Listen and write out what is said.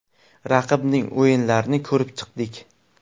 Raqibning o‘yinlarini ko‘rib chiqdik.